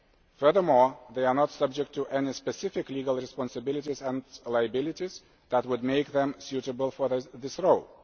Furthermore, they are not subject to any specific legal responsibilities and liabilities that would make them suitable for this role.